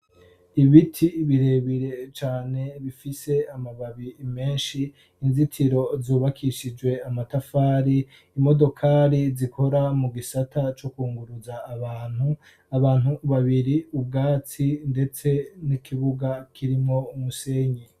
ibiti birebire cane bifise amababi menshi inzitiro zubakishijwe amatafari imodokari zikora mu gisata co kunguruza abantu abantu babiri ubwatsi ndetse n'ikibuga kirimwo umusenyi